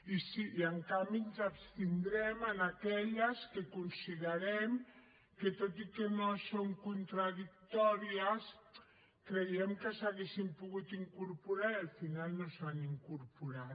i en canvi ens abstindrem en aquelles que considerem que tot i que no són contradictòries creiem que s’hi haurien pogut incorporar i al final no s’hi han incorporat